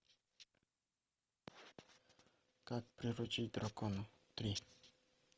как приручить дракона три